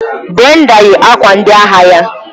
Brenda yi akwa ndị agha ya.